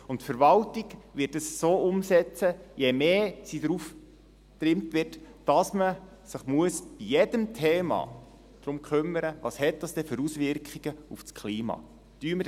Die Verwaltung wird es so umsetzen, je mehr sie darauf getrimmt wird, dass man sich bei jedem Thema darum kümmern muss, welche Auswirkungen es denn auf das Klima hat, im Sinne von: